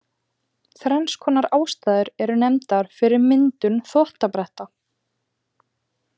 Þrenns konar ástæður eru nefndar fyrir myndun þvottabretta.